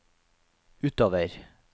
utover